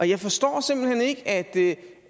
jeg forstår simpelt hen ikke at ikke